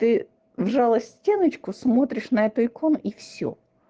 ты вжалась в стеночку смотришь на эту икону и всё